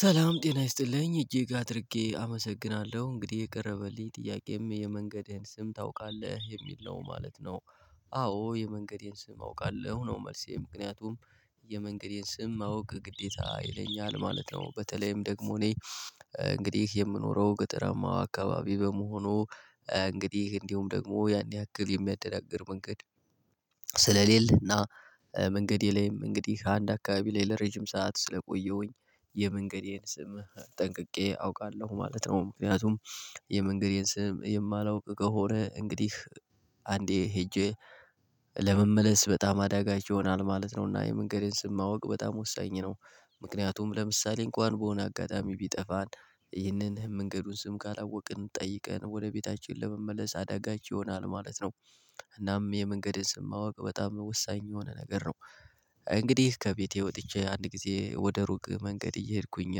ሰላም ጤና ይስጥልኝ እጅግ አድርጌ አመሰግናለሁ እንግዲህ የቀረበልኝ ጥያቄም የመንገድህን ስም ታውቃለህ የሚል ነው ማለት ነው? አዎ የመንገዴን ስም አውቃለሁ ነው መልሴ ምክንያቱም የመንገዴን ስም ማወቅ ግዴታ ይለኛል ማለት ነው። በተለይም ደግሞ እኔ እንግዲህ የምኖረው ገጠማ አካባቢ በመሆኑ እንግዲህ እንዲሁም ደግሞ ያን ያክል የሚያደናግር መንገድ ስለሌለና መንገዴ ላይም እንግዲህ አንድ አካባቢ ላይ ለረጅም ሰዓት ስለቆየሁኝ የመንገዴን ስምህ ጠንቅቄ አውቃለሁ ማለት ነው። ምክንያቱም የመንገዴን ስም የማላውቅ ከሆነ እንግዲህ አንዴ ሄጄ ለመመለስ በጣም አዳጋች ይሆናል ማለት ነው። እና የመንገዴን ስም ማወቅ በጣም ወሳኝ ነው። ምክንያቱም ለምሳሌ እንኳን በሆነ አጋጣሚ ቢጠፋን ይህንን መንገዱን ስም ካላወቅን ጠይቀን ወደ ቤታችን ለመመለስ አዳጋች ይሆናል ማለት ነው። እናም የመንገድን ስም ማወቅ በጣም ወሳኝ የሆነ ነገር ነው። እንግዲህ ከቤቴ ወጥቼ አንድ ጊዜ ወደ ሩቅ መንገድ እየሄድኩኝ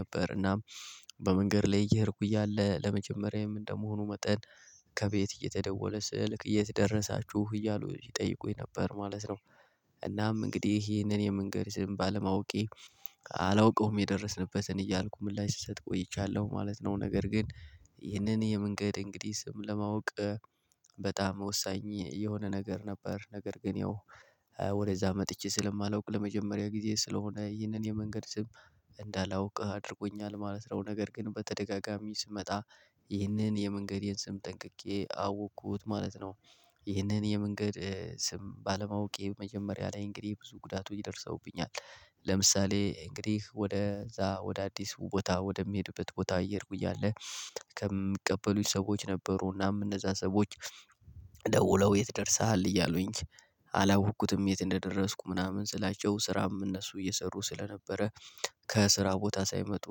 ነበር እናም በመንገድ ላይ እየሄድኩኝ እያለ ለመጀመሪያዬም እንደመሆኑ መጠን ከቤት እየተደወለ ስልክ የትደረሳችሁ እያሉ ይጠይቁኝ ነበር ማለት ነው። እናም እንግዲህ ይህንን የምንገድስም ባለማወቄ አላውቀውም የደረስንበትን እያልኩ ምላሽ ስሰጥ ቆይቻለሁ ማለት ነው። ነገር ግን ይህንን የመንገድ እንግዲህ ስም ለማወቅ በጣም ወሳኝ የሆነ ነገር ነበር። ነገር ግን ያው ወደዛ መጥቼ ስለማላውቅ ለመጀመሪያ ጊዜ ስለሆነ ይህንን የመንገድ ስም እንዳላውቅ አድርጎኛል ማለት ነው። ነገር ግን በተደጋጋሚ ስመጣ ይህንን የመንገዴን ስም ጠንቅቄ አወቅኩት ማለት ነው። ይህንን የመንገድ ስም ባለማወቄ መጀመሪያ ላይ እንግዲህ ብዙ ጉዳቱ ይደርሰውብኛል። ለምሳሌ እንግዲህ ወደ እዛ ወደ አዲስ ቦታ ወደሚሄድበት ቦታ እየሄድኩኝ እያለ ከሚቀበሉኝ ሰዎች ነበሩናም እነዛ ሰዎች ደውለው የት ደርሰሃል እያሉኝ አላወኩትም የት እንደደረስኩ ምናምን ስላቸው ስራም እነሱ እየሰሩ ስለነበረ ከስራ ቦታ ሳይመጡ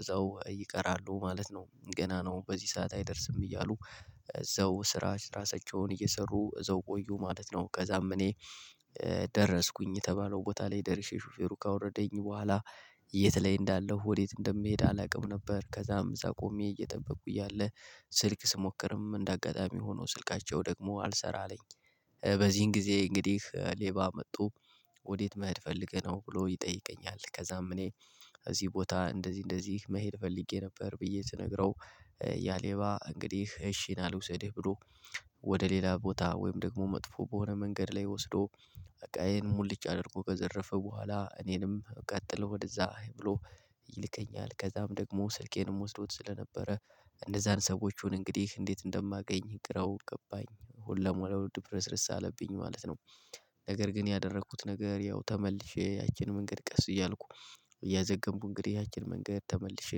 እዛው ይቀራሉ ማለት ነው። ገና ነው በዚህ ሰዓት አይደርስም እያሉ እዛው ስራ ስራሳቸውን እየሰሩ እዛው ቆዩ ማለት ነው። ከዛም እኔ ደረስኩኝ የተባለው ቦታ ላይ ደርሼ ሹፌሩ ካወረደኝ በኋላ የት ላይ እንዳለሁ ወዴት እንደምሄድ አላውቅም ነበር። ከዛም እዛ ቆሜ እየጠበቁ እያለ ስልክ ስሞክርም እንደ አጋጣሚ ሆኖ ስልካቸው ደግሞ አልሰራ አለኝ። በዚህን ጊዜ እንግዲህ ሌባ መቶ ወዴት መሄድ ፈልገህ ነው ብሎ ይጠይቀኛል? ከዛም እኔ እዚህ ቦታ እንደዚህ እንደዚህ መሄድ ፈልጌ ነበር ብዬ ስነግረው ያሌባ እንግዲህ እሺ ና ልውሰድህ ብሎ ወደ ሌላ ቦታ ወይም ደግሞ መጥፎ በሆነ መንገድ ላይ ወስዶ እቃዬን ሙልጭ አድርጎ ከዘረፈ በኋላ እኔንም ቀጥል ወደዛ ብሎ ይልከኛል። ከዛም ደግሞ ስልኬንም ወስዶት ስለነበረ እነዛን ሰዎች ኡን እንግዲህ እንዴት እንደማገኝ ግራው ገባኝ ሁለሞራው ድፍረስረስ አለብኝ ማለት ነው። ነገር ግን ያደረኩት ነገር ያው ተመልሼ ያችን መንገድ ቀስ እያልኩ እያዘገንኩ እንግዲህ ያችን መንገድ ተመልሼ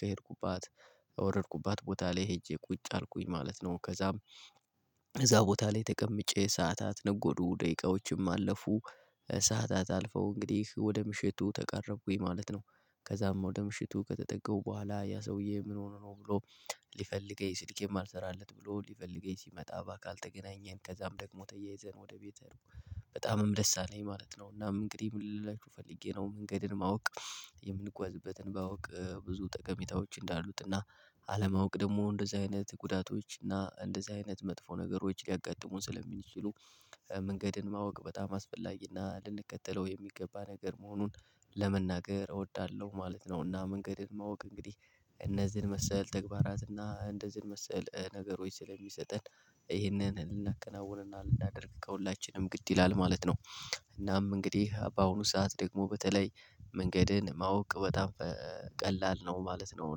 ከሄድኩባት ወረድኩባት ቦታ ላይ ሄጄ ቁጭ አልኩኝ ማለት ነው። ከዛም እዛ ቦታ ላይ ተቀምጬ ሰዓታት ነጎዱ ደቂቃዎችም አለፉ ሰዓታት አልፈው እንግዲህ ወደ ምሽቱ ተቃረብኩኝ ማለት ነው። ከዛም ወደ ምሽቱ ከተጠጋሁ በኋላ ያ ሰውዬ ምን ሆኖ ነው ብሎ ሊፈልገው ሲልኬም አልሰራለት ብሎ ሊፈልገኝ ሲመጣ ባካልተገናኘን ከዛም ደግሞ ተያይዘን ወደ ቤትሄድኩ በጣምም ደስ አለኝ ማለት ነው። እናም እንግዲህ ምን ልላችሁ ፈልጌ ነው መንገድን ማወቅ። የምንጓዝበትን ባውቅ ብዙ ጠቀሜታዎች እንዳሉት እና አለማወቅ ደግሞ እንደዚህ አይነት ጉዳቶች እና እንደዚህ አይነት መጥፎ ነገሮች ሊያጋጥሙን ስለሚችሉ መንገድን ማወቅ በጣም አስፈላጊና ልንቀጥለው የሚገባ ነገር መሆኑን ለመናገር እወዳለሁ ማለት ነው። እና መንገድን ማወቅ እንግዲህ እነዚህን መሰል ተግባራትና እንደዚህን መሰል ነገሮች ስለሚሰጠን ይህንን ልናከናውንና ልናደርግ ከሁላችንም ግድ ይላል ማለት ነው። እናም እንግዲህ በአሁኑ ሰዓት ደግሞ በተለይ መንገድን ማወቅ በጣም ቀላል ነው ማለት ነው።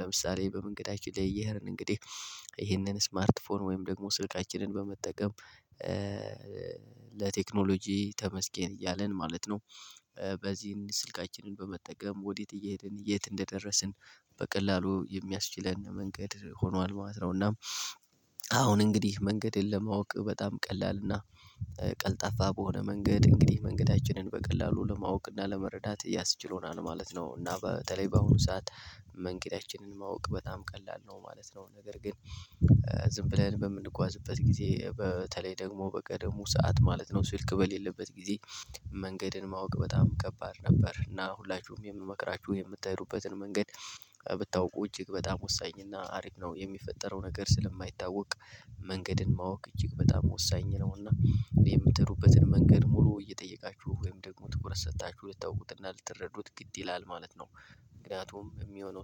ለምሳሌ በመንገዳችን ላይ እየሄድን እንግዲህ ይሄንን ስማርት ፎን ወይም ደግሞ ስልካችንን በመጠቀም ለቴክኖሎጂ ተመስገን እያልን ማለት ነው። በዚህን ስልካችንን በመጠቀም ወዴት እየሄድን የት እንደደረስን በቀላሉ የሚያስችለን መንገድ ሆኗል ማለት ነውና። አሁን እንግዲህ መንገድን ለማወቅ በጣም ቀላል እና ቀልጣፋ በሆነ መንገድ እንግዲህ መንገዳችንን በቀላሉ ለማወቅ እና ለመረዳት እያስችሎናል ማለት ነው። እና በተለይ በአሁኑ ሰዓት መንገዳችንን ማወቅ በጣም ቀላል ነው ማለት ነው። ነገር ግን ዝም ብለን በምንጓዝበት ጊዜ በተለይ ደግሞ በቀደሙ ሰዓት ማለት ነው ስልክ በሌለበት ጊዜ መንገድን ማወቅ በጣም ከባድ ነበር። እና ሁላችሁም የምመክራችሁ የምትሄዱበትን መንገድ ብታውቁ እጅግ በጣም ወሳኝ እና አሪፍ ነው የሚፈጠረው ነገር ስለማይታወቅ መንገድን ማወቅ እጅግ በጣም ወሳኝ ነው። እና የምትሄዱበትን መንገድ ሙሉ እየጠየቃችሁ ወይም ደግሞ ትኩረት ሰጥታችሁ ልታውቁትና ልትረዱት ግድ ይላል ማለት ነው። ምክንያቱም የሚሆነው